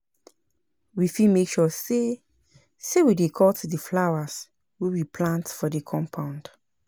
We fit make sure sey sey we dey cut di flowers wey we plant for di compound